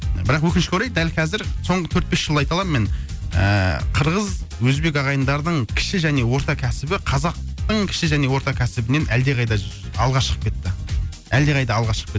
бірақ өкінішке орай дәл кәзір соңғы төрт бес жылда айта аламын мен ыыы қырғыз өзбек ағайындардың кіші және орта кәсібі қазақтың кіші және орта кәсібінен әлдеқайда алға шығып кетті әлдеқайда алға шығып кетті